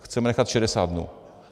Chceme nechat 60 dnů.